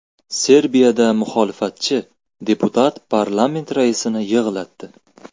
Serbiyada muxolifatchi deputat parlament raisini yig‘latdi .